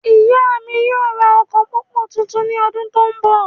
Ìyá mí yóò ra ọkọ pópó tuntun ní ọdún tó n bọ